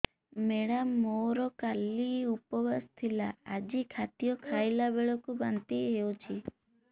madam ମୋର କାଲି ଉପବାସ ଥିଲା ଆଜି ଖାଦ୍ୟ ଖାଇଲା ବେଳକୁ ବାନ୍ତି ହେଊଛି